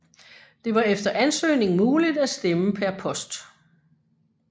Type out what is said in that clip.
Det var efter ansøgning muligt at stemme per post